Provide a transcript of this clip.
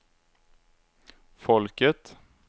folket